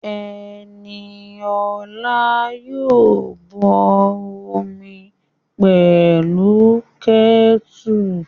Ẹniola yóò bọ omi pẹ̀lú kẹ́tùrù